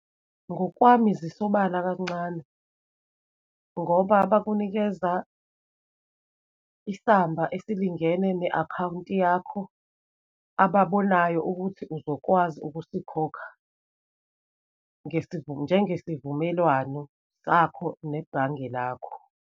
Ngokwami zisobala kancane, ngoba bakunikeza isamba esilingene ne-akhawunti yakho, ababonayo ukuthi uzokwazi ukusikhokha, njengesivumelwano sakho nebhange lakho.